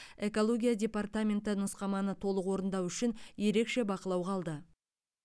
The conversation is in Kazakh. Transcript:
экология департаменті нұсқаманы толық орындау үшін ерекше бақылауға алды